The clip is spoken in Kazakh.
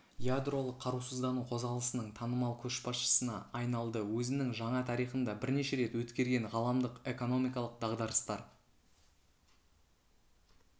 ядролық қарусыздану қозғалысының танымал көшбасшысына айналды өзінің жаңа тарихында бірнеше рет өткерген ғаламдық экономикалық дағдарыстар